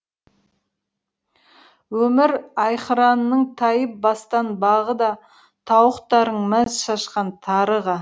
өмір аи қыранның тайып бастан бағы да тауықтарың мәз шашқан тарыға